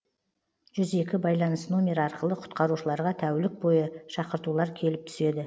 жүз екі байланыс номері арқылы құтқарушыларға тәулік бойы шақыртулар келіп түседі